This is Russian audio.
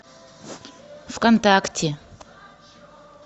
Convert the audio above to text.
вконтакте